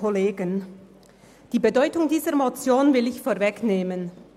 Ich will die Bedeutung dieser Motion vorwegnehmen.